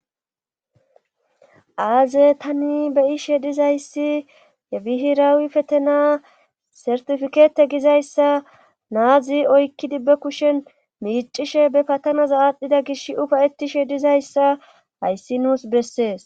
aaze tani beyishe dizayssi yebihirawi petena sertifikeete gizayssa naazi oykkidibbe kushen miicishe be patana zaaadhdhida gish ufayetishe dizayssa hayssi nuus bessees